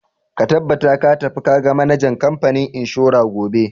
Ka tabbata ka tafi ka ga manajan kamfanin inshora gobe!